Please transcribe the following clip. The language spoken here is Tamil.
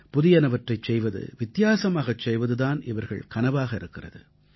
புதியனவற்றைச் செய்வது வித்தியாசமாகச் செய்வது தான் இவர்கள் கனவாக இருக்கிறது